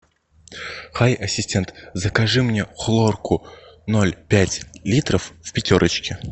хай ассистент закажи мне хлорку ноль пять литров в пятерочке